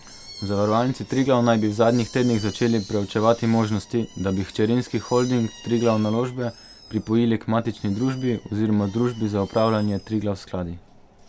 V Zavarovalnici Triglav naj bi v zadnjih tednih začeli preučevati možnosti, da bi hčerinski holding Triglav Naložbe pripojili k matični družbi oziroma družbi za upravljanje Triglav Skladi.